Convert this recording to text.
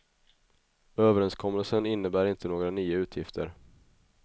Överenskommelsen innebär inte inte några nya utgifter.